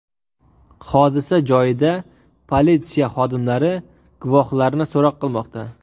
Hodisa joyida politsiya xodimlari guvohlarni so‘roq qilmoqda.